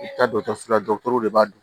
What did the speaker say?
I bɛ taa dɔgɔtɔrɔso la de b'a dɔn